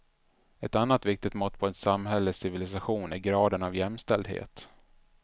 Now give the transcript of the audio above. Ett annat viktigt mått på ett samhälles civilisation är graden av jämställdhet.